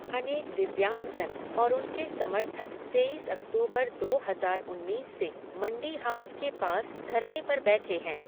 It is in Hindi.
अनेक दिव्यांगजन और उनके समर्थक तेईस अक्तूबर दो हजार उन्नीस से मंडी हाउस के पास धरने पर बैठे हैं।